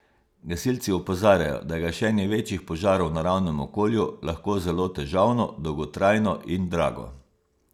Gasilci opozarjajo, da je gašenje večjih požarov v naravnem okolju lahko zelo težavno, dolgotrajno in drago.